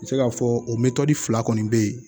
N bɛ se k'a fɔ o mɛtɔri fila kɔni bɛ yen